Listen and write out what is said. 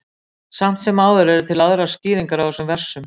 Samt sem áður eru til aðrar skýringar á þessum versum.